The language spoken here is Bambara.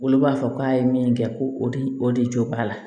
Olu b'a fɔ k'a ye min kɛ ko o de o de jɔ b'a la